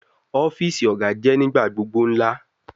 Ọfiisi Oga jẹ nigbagbogbo ńlá